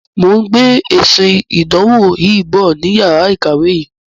Mo ń gbé esin ìdánwò yìn bọ̀ ni yàrá ìkàwé yin.